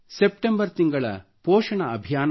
September ತಿಂಗಳು ಪೋಷಣ ಅಭಿಯಾನದಲ್ಲಿ